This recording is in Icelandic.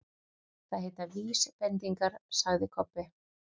Það heita VÍSbendingar, sagði Kobbi.